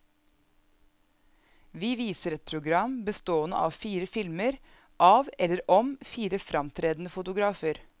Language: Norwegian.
Vi viser et program bestående av fire filmer av eller om fire framtredende fotografer.